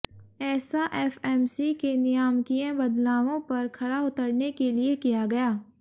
ऐसा एफएमसी के नियामकीय बदलावों पर खरा उतरने के लिए किया गया